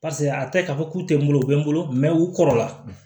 a tɛ k'a fɔ k'u tɛ n bolo u bɛ n bolo mɛ u kɔrɔla